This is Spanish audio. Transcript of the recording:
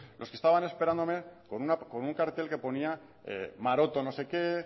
los que estaban esperándome con un cartel que ponía maroto no sé qué